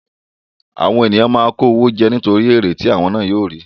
Àwọn ènìyàn máa ń kó owó jẹ nítorí èrè tí àwọn ná yóò rí.